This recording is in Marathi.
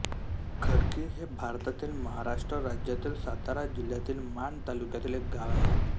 खडकी हे भारतातील महाराष्ट्र राज्यातील सातारा जिल्ह्यातील माण तालुक्यातील एक गाव आहे